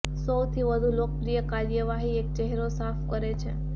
સૌથી વધુ લોકપ્રિય કાર્યવાહી એક ચહેરો સાફ કરે છે